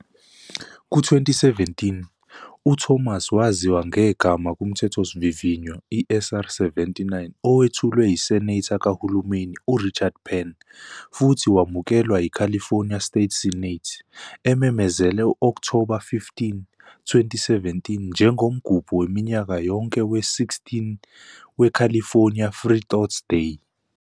Ku-2017, uThomas waziwa ngegama kumthethosivivinywa, i-SCR-79, owethulwe yiSenator kahulumeni uRichard Pan, futhi wamukelwa yiCalifornia State Senate, ememezela u-Okthoba 15, 2017 njengomgubho waminyaka yonke we-16 weCalifornia Freethought Day.